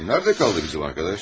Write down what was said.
Nərdə qaldı bizim yoldaş?